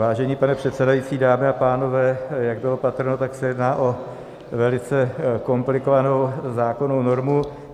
Vážený pane předsedající, dámy a pánové, jak bylo patrno, tak se jedná o velice komplikovanou zákonnou normu.